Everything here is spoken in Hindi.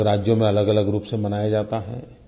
अलगअलग राज्यों में अलगअलग रूप से मनाया जाता है